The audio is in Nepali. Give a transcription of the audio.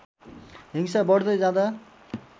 हिंसा बढ्दै जाँदा